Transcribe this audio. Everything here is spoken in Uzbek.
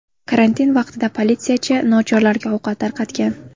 Karantin vaqtida politsiyachi nochorlarga ovqat tarqatgan.